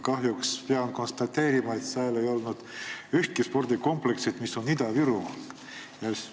Kahjuks pean konstateerima, et seal ei olnud ühtki spordikompleksi, mis on Ida-Virumaal.